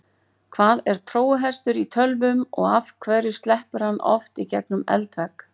Hvað er trójuhestur í tölvum og af hverju sleppur hann oft í gegnum eldvegg?